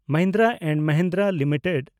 Mahindra and Mahindra limited